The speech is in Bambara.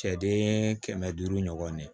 Cɛden kɛmɛ duuru ɲɔgɔnna ye